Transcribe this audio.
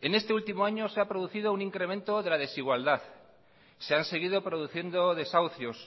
en este último año se ha producido un incremento de la desigualdad se han seguido produciendo desahucios